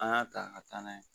An y'a ta ka taa n'a ye